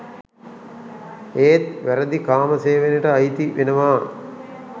ඒත් වැරදි කාම සේවනයට අයිති වෙනවා.